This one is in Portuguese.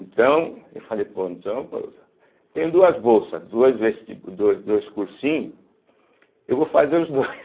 Então, eu falei, pô, então, pô tenho duas bolsas, dois vestibu do dois cursinhos, eu vou fazer os dois.